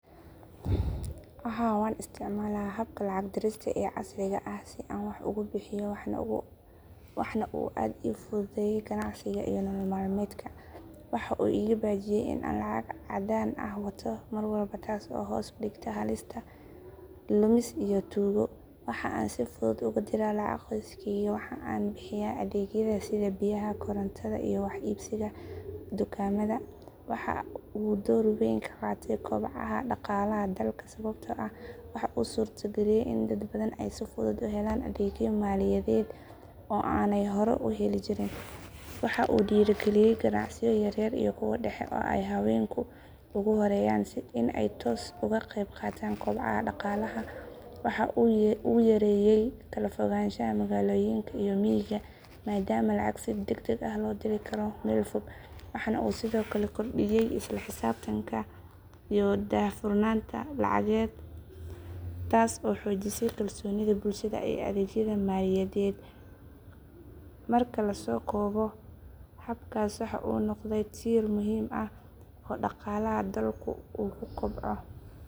Haa waan isticmaalaa habka lacag dirista ee casriga ah si aan wax ugu bixiyo waxaana uu aad ii fududeeyay ganacsiga iyo nolol maalmeedka. Waxa uu iga baajiyay in aan lacag caddaan ah wato mar walba taas oo hoos u dhigtay halista lumis iyo tuugo. Waxa aan si fudud ugu diraa lacag qoyskeyga, waxa aan ku bixiyaa adeegyada sida biyaha, korontada, iyo wax iibsiga dukaamada. Waxa uu door weyn ka qaatay kobaca dhaqaalaha dalka sababtoo ah waxa uu suurtageliyay in dad badan ay si fudud u helaan adeegyo maaliyadeed oo aanay hore u heli jirin. Waxa uu dhiirrigeliyay ganacsiyo yaryar iyo kuwa dhexe oo ay haweenku ugu horreeyaan in ay si toos ah uga qayb qaataan kobaca dhaqaalaha. Waxa uu yareeyay kala fogaanshaha magaalooyinka iyo miyiga maadaama lacag si degdeg ah looga diri karo meel fog. Waxa uu sidoo kale kordhiyay isla xisaabtanka iyo daahfurnaanta lacageed taas oo xoojisay kalsoonida bulshada ee adeegyada maaliyadeed. Marka la soo koobo, habkaas waxa uu noqday tiir muhiim ah oo dhaqaalaha dalku uu ku kobco.